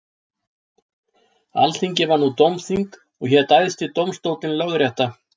Alþingi var nú dómþing og hét æðsti dómstóllinn lögrétta.